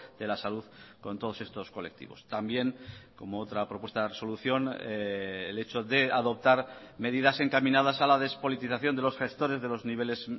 de la salud con todos estos colectivos también como otra propuesta de resolución el hecho de adoptar medidas encaminadas a la despolitización de los gestores de los niveles